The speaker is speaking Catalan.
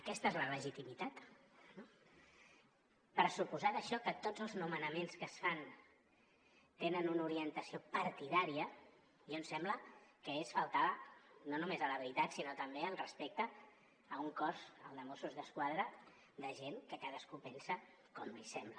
aquesta és la legitimitat no pressuposar d’això que tots els nomenaments que es fan tenen una orientació partidària a mi em sembla que és faltar no només a la veritat sinó també al respecte a un cos al de mossos d’esquadra de gent que cadascú pensa com li sembla